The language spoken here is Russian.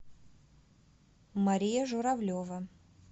мария журавлева